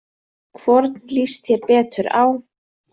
Hvorn líst þér betur á?